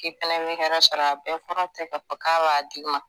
I fana bɛ hɛrɛ sɔrɔ a bɛɛ kɔrɔ tɛ k'a fɔ k'a b'a d'i ma